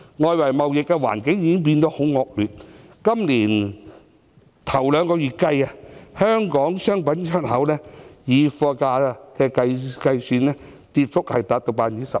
外圍貿易環境變得很惡劣，今年首兩個月，香港商品的出口，以貨價計算，跌幅達 12%。